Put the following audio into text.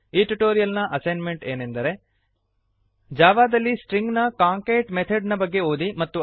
ಈ ಟ್ಯುಟೋರಿಯಲ್ ನ ಅಸೈನ್ಮೆಂಟ್ ಏನೆಂದರೆ ಜಾವಾದಲ್ಲಿ ಸ್ಟ್ರಿಂಗ್ ನ ಕಾಂಕ್ಯಾಟ್ ಕಾಂಕೇಟ್ ಮೆಥೆಡ್ ನ ಬಗ್ಗೆ ಓದಿ